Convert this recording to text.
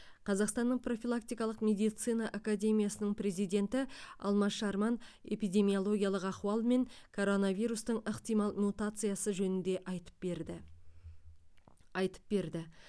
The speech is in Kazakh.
қазақстанның профилактикалық медицина академиясының президенті алмаз шарман эпидемиологиялық ахуал мен коронавирустың ықтимал мутациясы жөнінде айтып берді айтып берді